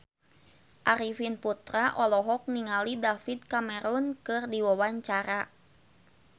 Arifin Putra olohok ningali David Cameron keur diwawancara